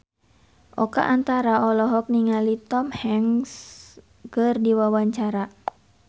Oka Antara olohok ningali Tom Hanks keur diwawancara